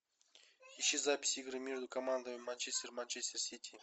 ищи запись игры между командами манчестер манчестер сити